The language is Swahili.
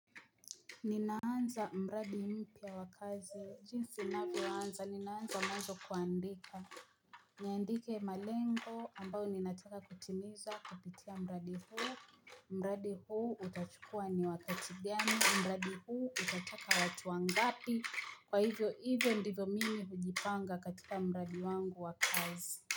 Ninaanza mradi mpya wa kazi, jinsi navyoanza, ninaanza mwanzo kuandika niandike malengo ambao ninataka kutimiza kupitia mradi huu mradi huu utachukua ni wakati gani, mradi huu utataka watu wangapi Kwa hivyo hivyo ndivyo mimi hujipanga katika mradi wangu wa kazi.